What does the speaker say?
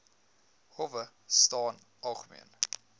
howe staan algemeen